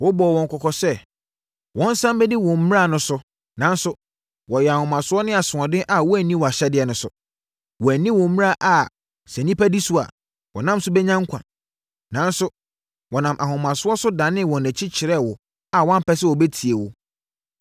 “Wobɔɔ wɔn kɔkɔ sɛ, wɔnsane mmɛdi wo mmara no so nanso, wɔyɛɛ ahomasoɔ ne asoɔden a wɔanni wʼahyɛdeɛ no so. Wɔanni wo mmara a sɛ nnipa di so a, wɔnam so bɛnya nkwa. Nanso, wɔnam ahomasoɔ so danee wɔn akyi kyerɛɛ wo a wɔampɛ sɛ wɔbɛtie wo.